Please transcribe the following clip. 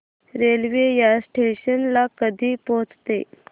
railway या station ला कधी पोहचते